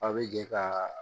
A bɛ jɛ ka